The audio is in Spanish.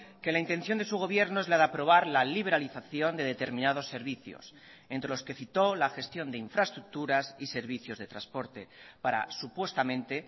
que la intención de su gobierno es la de aprobar la liberalización de determinados servicios entre los que citó la gestión de infraestructuras y servicios de transporte para supuestamente